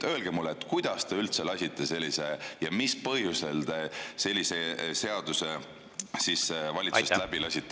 Öelge mulle, kuidas ta üldse lasite sellise seaduse valitsusest läbi ja mis põhjusel te seda tegite.